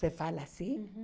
Se fala assim? Uhum.